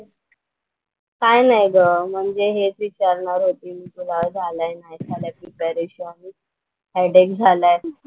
काय नाही ग म्हणजे हेच विचारणार होती मी तुला झालाय नाही झालाय प्रिपरेशन हेच. हेडेक झालाय.